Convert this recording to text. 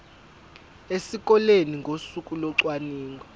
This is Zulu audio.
esikoleni ngosuku locwaningo